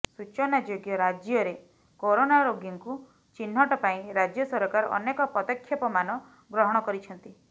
ସୂଚନାଯୋଗ୍ୟ ରାଜ୍ୟରେ କୋରୋନା ରୋଗୀଙ୍କୁ ଚିହ୍ନଟ ପାଇଁ ରାଜ୍ୟ ସରକାର ଅନେକ ପଦକ୍ଷେପମାନ ଗ୍ରହଣ କରିଛନ୍ତି